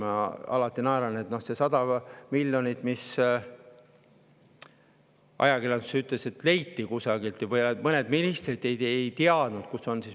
Ma alati naeran selle üle, et ajakirjanduses öeldi, et kusagilt leiti 100 miljonit ja mõned ministrid ei teadnud, kus see on.